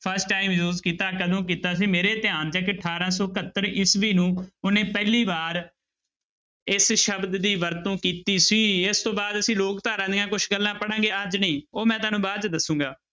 First time use ਕੀਤਾ ਕਦੋਂ ਕੀਤਾ ਸੀ ਮੇਰੇ ਧਿਆਨ 'ਚ ਹੈ ਕਿ ਅਠਾਰਾਂ ਸੌ ਇਕਹੱਤਰ ਈਸਵੀ ਨੂੰ ਉਹਨੇ ਪਹਿਲੀ ਵਾਰ ਇਸ ਸ਼ਬਦ ਦੀ ਵਰਤੋਂ ਕੀਤੀ ਸੀ, ਇਸ ਤੋਂ ਬਾਅਦ ਅਸੀਂ ਲੋਕ ਧਾਰਾ ਦੀਆਂ ਕੁਛ ਗੱਲਾਂ ਪੜ੍ਹਾਂਗੇ ਅੱਜ ਨਹੀਂ, ਉਹ ਮੈਂ ਤੁਹਾਨੂੰ ਬਾਅਦ 'ਚ ਦੱਸਾਂਗਾ।